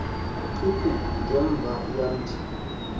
xhiphu ngemva yamthi